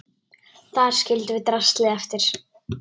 Þar skildum við draslið eftir.